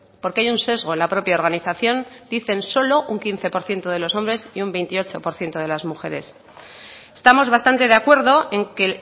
porque hay un sesgo en la propia organización dicen solo un quince por ciento de los hombres y un veintiocho por ciento de las mujeres estamos bastante de acuerdo en que